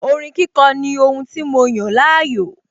Orin kíkọ ní ohun tí mo yàn láàyò